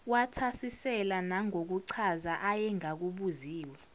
wathasisela nangokuchaza ayengakubuziwe